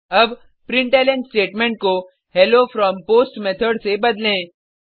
अब println statement को hello from post method से बदलें